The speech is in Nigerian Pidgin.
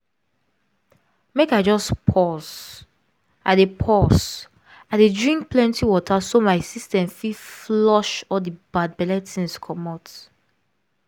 make i just pause. i dey pause. i dey drink plenty water so my system fit flush all the bad belle things comot